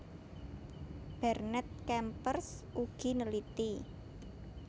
Bernet Kempers ugi neliti